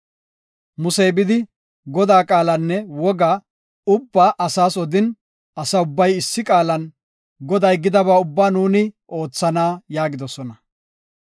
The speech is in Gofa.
Musey bidi, Godaa qaalanne woga ubbaa asaas odin, asa ubbay issi qaalan, “Goday gidaba ubbaa nuuni oothana” yaagidosona.